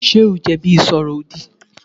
Ṣé o jẹ̀bi ìsọ̀rọ̀-òdì?